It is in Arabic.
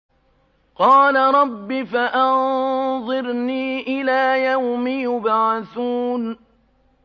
قَالَ رَبِّ فَأَنظِرْنِي إِلَىٰ يَوْمِ يُبْعَثُونَ